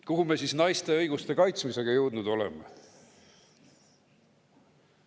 Kuhu me siis naiste õiguste kaitsmisega jõudnud oleme?